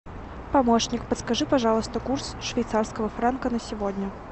помощник подскажи пожалуйста курс швейцарского франка на сегодня